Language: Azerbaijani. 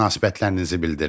Münasibətlərinizi bildirin.